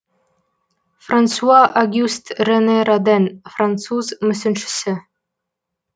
франсуа огюст рене роден француз мүсіншісі